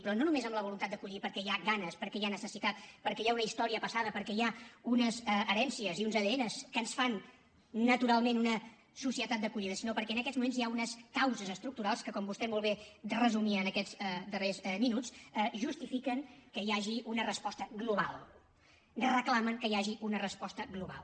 però no només en la voluntat d’acollir perquè hi ha ganes perquè hi ha necessitat perquè hi ha una història passada perquè hi ha unes herències i uns adn que ens fan naturalment una societat d’acollida sinó perquè en aquests moments hi ha unes causes estructurals que com vostè molt bé resumia en aquests darrers minuts justifiquen que hi hagi una resposta global reclamen que hi hagi una resposta global